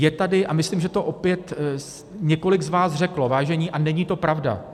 Je tady, a myslím, že to opět několik z vás řeklo, vážení, a není to pravda.